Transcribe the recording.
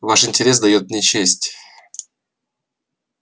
ваш интерес даёт мне честь